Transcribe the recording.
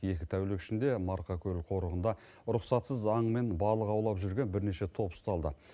екі тәулік ішінде марқакөл қорығында рұқсатсыз аң мен балық аулап жүрген бірнеше топ ұсталды